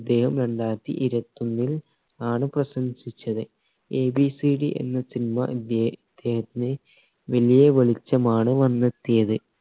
ഇദ്ദേഹം രണ്ടായിരത്തി ഇരുവാതോന്നിൽ ആണ് പ്രശംസിച്ചത് എബിസിഡി എന്ന cinema ഇദ്ധെ ഇദ്ദേഹത്തിന് വലിയ വെളിച്ചമാണ് വന്നെത്തിയത്